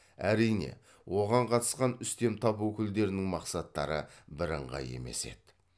әрине оған қатысқан үстем тап өкілдерінің мақсаттары бірыңғай емес еді